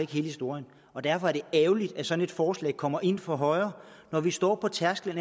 hele historien og derfor er det ærgerligt at sådan et forslag kommer ind fra højre når vi står på tærsklen